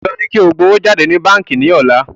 Dandan ni kí o gbà owó jáde ní báńkí ní ọ̀la